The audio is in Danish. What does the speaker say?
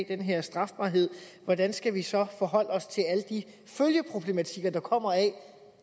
den her strafbarhed hvordan skal vi så forholde os til alle de følgeproblematikker der kommer af